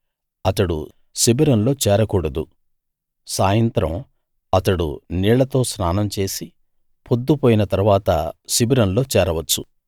అతడు శిబిరంలో చేరకూడదు సాయంత్రం అతడు నీళ్లతో స్నానం చేసి పొద్దుపోయిన తరువాత శిబిరంలో చేరవచ్చు